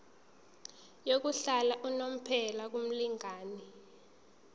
yokuhlala unomphela kumlingani